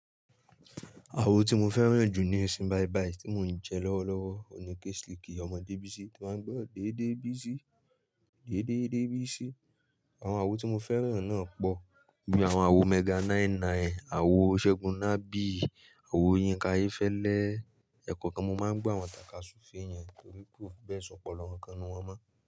Awo ti mo fẹ́ràn jù nísin baibaí tí mò ń jẹ lọ́wọ́lọ́wọ́ òun ni Keslikí ọmọ Debisi to máà ń gbọ́ dédé bísi, dédé dé bísi. Àwọn awo tí mo fẹ́ràn náà pọ̀ bíi àwọn awo Mega 99, àwo Segun Nabi, àwo Yinka Ayéfẹ́lẹ́. Ẹ̀kankan mo máa ń gbọ́ àwọn tàká súfèé yẹn torí pé kó bẹ́ẹ̀ sọ̀pọ̀lọ́ kánkan nínú wọ́n mọ́.